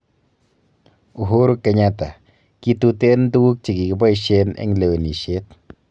Uhuru Kenyatta: Kituten tuguukchegeboisien en lewenisiet.